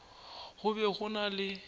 go be go na le